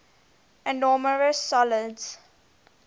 amorphous solids